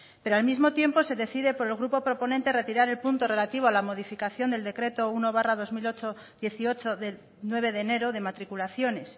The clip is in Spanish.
pero al mismo tiempo se decide por el grupo proponente retirar el punto relativo a la modificación del decreto uno barra dos mil dieciocho de nueve de enero de matriculaciones